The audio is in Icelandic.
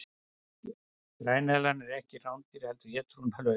græneðlan er ekki rándýr heldur étur hún lauf